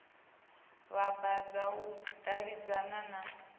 vhambadza u davhidzana na u